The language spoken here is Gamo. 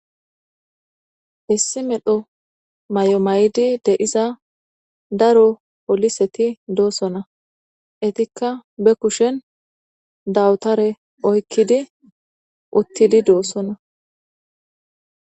issi medho may7o maydi de7iza daro poliseti doossona etikka be kushen dawutare oykkidi uttidi doossonna